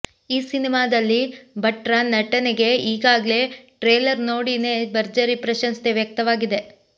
ಈ ಸಿನಿಮಾದಲ್ಲಿ ಭಟ್ರ ನಟನೆಗೆ ಈಗಾಗ್ಲೇ ಟ್ರೇಲರ್ ನೋಡೀನೇ ಭರ್ಜರಿ ಪ್ರಶಂಸೆ ವ್ಯಕ್ತವಾಗಿದೆ